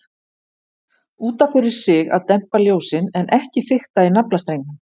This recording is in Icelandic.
Út af fyrir sig að dempa ljósin, en ekki fikta í naflastrengnum.